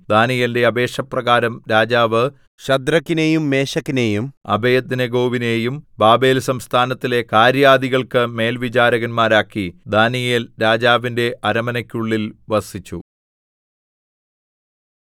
ദാനീയേലിന്റെ അപേക്ഷ പ്രകാരം രാജാവ് ശദ്രക്കിനെയും മേശക്കിനെയും അബേദ്നെഗോവിനെയും ബാബേൽ സംസ്ഥാനത്തിലെ കാര്യാദികൾക്ക് മേൽവിചാരകന്മാരാക്കി ദാനീയേൽ രാജാവിന്റെ അരമനക്കുള്ളിൽ വസിച്ചു